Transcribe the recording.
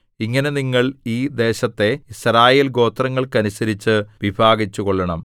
ഇങ്ങനെ നിങ്ങൾ ഈ ദേശത്തെ യിസ്രായേൽഗോത്രങ്ങൾക്കനുസരിച്ച് വിഭാഗിച്ചുകൊള്ളണം